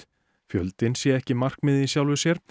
fjöldinn sé ekki markmið í sjálfu sér